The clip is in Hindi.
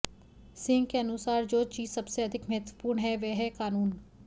सिंह के अनुसार जो चीज सबसे अधिक महत्वपूर्ण है वह है कानून